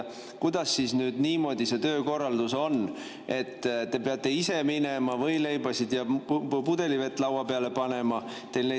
Kuidas nüüd niimoodi see töökorraldus on, et te peate ise minema võileibasid ja pudelivett laua peale panema?